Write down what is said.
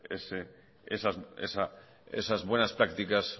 esas buenas prácticas